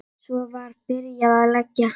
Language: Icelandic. Svo var byrjað að leggja.